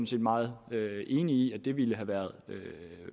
set meget enig i ville have været